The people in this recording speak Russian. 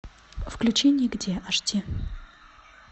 включи нигде аш ди